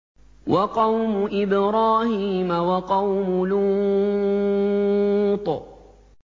وَقَوْمُ إِبْرَاهِيمَ وَقَوْمُ لُوطٍ